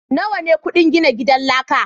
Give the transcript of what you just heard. nawa ne kudin gina gidan laka.